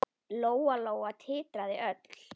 Lóa-Lóa titraði öll.